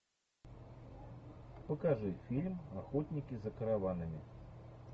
покажи фильм охотники за караванами